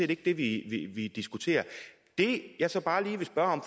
ikke det vi diskuterer det jeg så bare lige vil spørge